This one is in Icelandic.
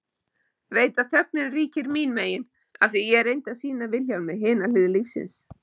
Veit að þögnin ríkir mín megin afþvíað ég reyndi að sýna Vilhjálmi hina hlið lífsins.